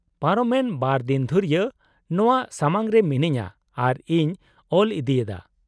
ᱯᱟᱨᱚᱢᱮᱱ ᱵᱟᱨ ᱫᱤᱱ ᱫᱷᱩᱨᱭᱟᱹ ᱱᱚᱶᱟ ᱥᱟᱢᱟᱝ ᱨᱮ ᱢᱤᱱᱟᱹᱧᱟᱹ ᱟᱨ ᱤᱧ ᱚᱞ ᱤᱫᱤᱭᱮᱫᱟ ᱾